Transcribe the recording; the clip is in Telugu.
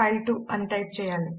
ఫైల్2 అని టైప్ చేయాలి